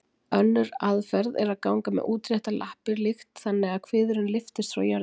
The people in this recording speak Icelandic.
Önnur aðferð er að ganga með útréttar lappir líkt þannig að kviðurinn lyftist frá jörðu.